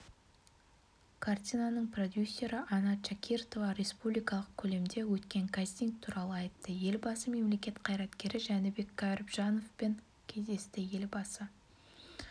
картинаның продюсері анна чакиртова республикалық көлемде өткен кастинг туралыайтты елбасы мемлекет қайраткері жәнібек кәрібжановпен кездесті елбасы